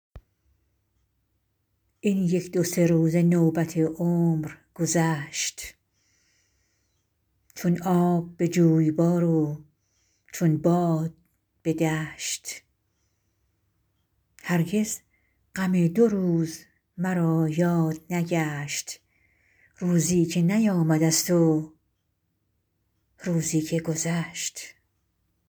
این یک دو سه روز نوبت عمر گذشت چون آب به جویبار و چون باد به دشت هرگز غم دو روز مرا یاد نگشت روزی که نیامده ست و روزی که گذشت